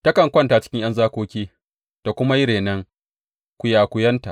Takan kwanta cikin ’yan zakoki ta kuma yi renon kwiyakwiyanta.